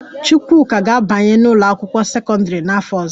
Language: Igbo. Chukwuka ga-abanye n'ụlọakwụkwọ sekọndịrị n'afọ ọzọ